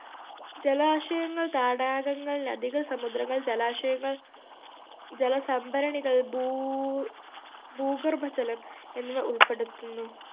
ജലാശയങ്ങൾ തടാകങ്ങൾ നദികൾ സമുദ്രങ്ങൾ ജലാശയങ്ങൾ ജലസംഭരണികൾ ഭൂ ഭൂഗർഭജലം എന്നിവ ഉൾപ്പെടുത്തുന്നു